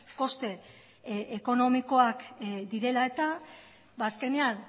koste ekonomikoak direla eta azkenean